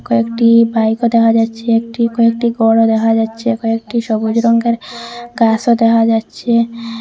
কয়েকটি বাইকও দেখা যাচ্ছে একটি কয়েকটি গরও দেখা যাচ্ছে কয়েকটি সবুজ রঙ্গের গাসও দেখা যাচ্ছে।